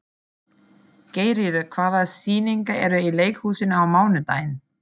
Geirríður, hvaða sýningar eru í leikhúsinu á mánudaginn?